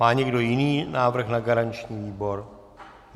Má někdo jiný návrh na garanční výbor?